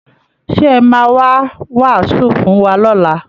Ṣé ẹ̀ máa wá wàásù fún wa lọ́la?